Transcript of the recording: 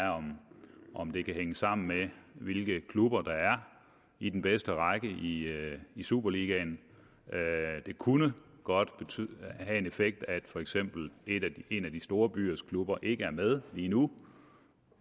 om det kan hænge sammen med hvilke klubber der er i den bedste række i superligaen det kunne godt have en effekt at for eksempel en af de store byers klubber ikke er med lige nu